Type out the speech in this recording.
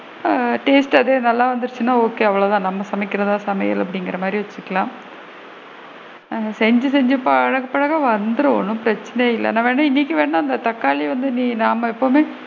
ஆ taste அது நல்லா வந்துருச்சுன்னா okay அவ்வளோதான் நம்ம சமைகிறது தான் சமையல் அந்த மாதிரி வச்சுக்கலாம் ஏன்னா செஞ்சு செஞ்சு பழகபழக வந்திடும் ஒன்னும் பிரச்சனை இல்ல நான் வேணா இன்னைக்கு வேணா இந்த தக்காளி வந்து நீ நாம எப்பவுமே,